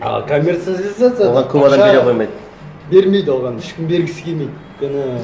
а коммерциализация оған көп адам бере қоймайды бермейді оған ешкім бергісі келмейді өйткені